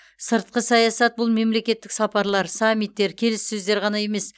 сыртқы саясат бұл мемлекеттік сапарлар саммиттер келіссөздер ғана емес